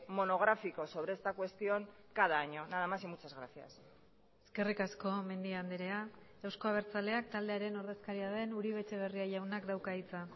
monográfico sobre esta cuestión cada año nada más y muchas gracias eskerrik asko mendia andrea euzko abertzaleak taldearen ordezkaria den uribe etxebarria jaunak dauka hitza